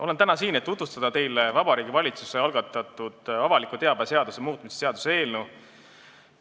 Olen täna siin, et tutvustada teile Vabariigi Valitsuse algatatud avaliku teabe seaduse muutmise seaduse eelnõu.